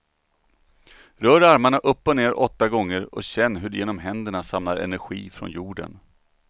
Rör armarna upp och ner åtta gånger och känn hur du genom händerna samlar energi från jorden.